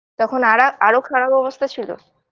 তখন আরা আরো খারাপ অবস্থা ছিল